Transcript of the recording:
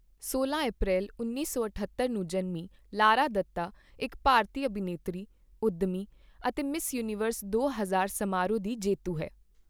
ਸੋਲਾਂ ਅਪ੍ਰੈਲ ਉੱਨੀ ਸੌ ਅਠੱਤਰ ਨੂੰ ਜਨਮੀ ਲਾਰਾ ਦੱਤਾ ਇੱਕ ਭਾਰਤੀ ਅਭਿਨੇਤਰੀ, ਉੱਦਮੀ ਅਤੇ ਮਿਸ ਯੂਨੀਵਰਸ ਦੋ ਹਜ਼ਾਰ ਸਮਾਰੋਹ ਦੀ ਜੇਤੂ ਹੈ।